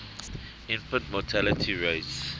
infant mortality rates